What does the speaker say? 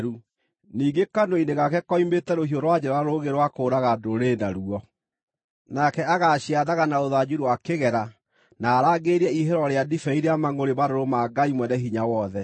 Ningĩ kanua-inĩ gake koimĩte rũhiũ rwa njora rũũgĩ rwa kũũraga ndũrĩrĩ naruo. Nake agaaciathaga na rũthanju rwa kĩgera na arangĩrĩrie ihihĩro rĩa ndibei rĩa mangʼũrĩ marũrũ ma Ngai Mwene-Hinya-Wothe.